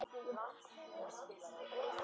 Það gekk ekki upp.